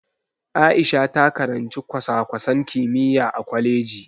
Aisha ta karanci kwasa-kwasan kimiyya a kwaleji.